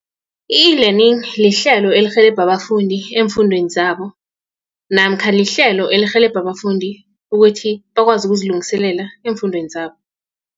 I-E-learning lihlelo elirhelebha abafundi eemfundweni zabo namkha lihlelo elirhelebha abafundi ukuthi bakwazi ukuziliselela eemfundweni zabo.